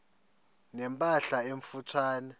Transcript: ne mpahla emfutshane